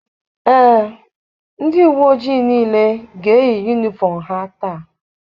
Ee, ndị uwe ojii niile ga-eyi yunifọm ha taa.